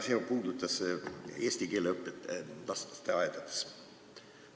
See puudutas eesti keele õpet lasteaedades.